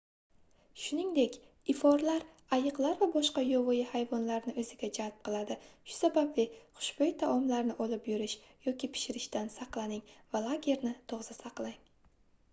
shuningdek iforlar ayiqlar va boshqa yovvoyi hayvonlarni oʻziga jalb qiladi shu sababli xushboʻy taomlarni olib yurish yoki pishirishdan saqlaning va lagerni toza saqlang